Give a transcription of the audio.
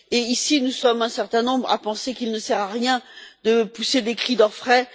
Ici, nous sommes un certain nombre à penser qu'il ne sert à rien de pousser des cris d'orfraie.